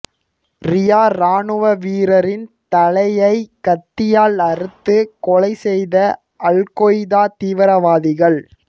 ரியா ராணுவ வீரரின் தலையை கத்தியால் அறுத்து கொலை செய்த அல்கொய்தா தீவிரவாதிகள்